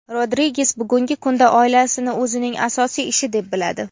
Rodriges bugungi kunda oilasini o‘zining asosiy ishi deb biladi.